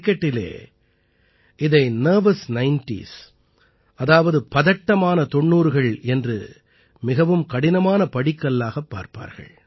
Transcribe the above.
கிரிக்கெட்டிலே இதை nervous nineties அதாவது பதட்டமான 90கள் என்றும் மிகவும் கடினமான படிக்கல்லாகப் பார்ப்பார்கள்